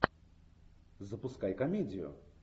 запускай комедию